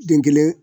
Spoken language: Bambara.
Den kelen